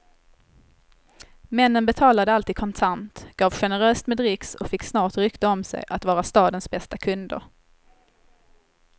Männen betalade alltid kontant, gav generöst med dricks och fick snart rykte om sig att vara stadens bästa kunder.